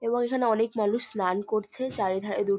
এবং এখানে অনেক মানুষ স্নান করছে চারিধারে দূর --